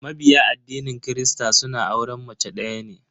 Mabiya addinin kirista suna auren mace daya ne.